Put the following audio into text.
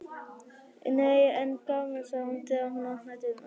Nei en gaman, sagði hún þegar hún opnaði dyrnar.